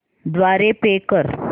द्वारे पे कर